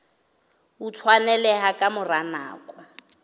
o tshwaneleha ka mora nako